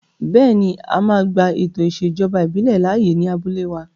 Bẹ́ẹ̀ni, a máa gba ètò ìṣèjọba ìbílẹ̀ láàyè ní abúlé wa